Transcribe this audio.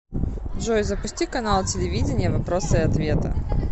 джой запусти канал телевидения вопросы и ответы